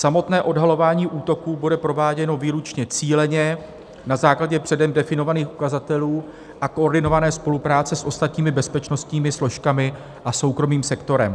Samotné odhalování útoků bude prováděno výlučně cíleně na základě předem definovaných ukazatelů a koordinované spolupráce s ostatními bezpečnostními složkami a soukromým sektorem.